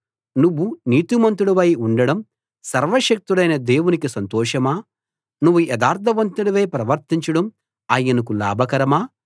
నువ్వు నీతిమంతుడివై ఉండడం సర్వశక్తుడైన దేవునికి సంతోషమా నువ్వు యథార్థవంతుడివై ప్రవర్తించడం ఆయనకు లాభకరమా